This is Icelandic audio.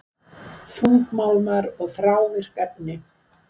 Þungmálmar og þrávirk efni